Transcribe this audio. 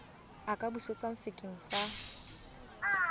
a ka busetswa sekeng sa